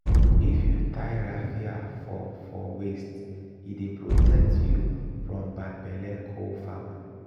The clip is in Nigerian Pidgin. if you tie raffia for for waist e dey protect you from bad belle co-farmer